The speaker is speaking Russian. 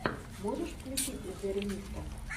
можешь включить зэремисто